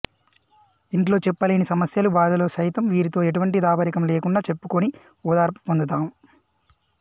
ఇంట్లో చెప్పలేని సమస్యలు బాధలు సైతం వీరితో ఎటువంటి దాపరికం లేకుండా చెప్పుకొని ఓదార్పు పొందుతాం